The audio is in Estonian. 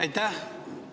Aitäh!